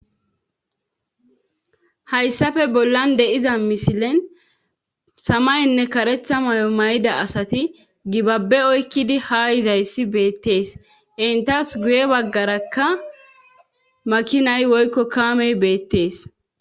hayssafe bollan deiza misilen samaynne karetha may7o may7ida asati gibabbe oykkidi ha hizayssi beettees intas guye baggarakka makinay woykko kaamey beettees